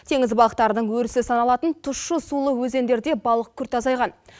теңіз балықтарының өрісі саналатын тұщы сулы өзендерде балық күрт азайған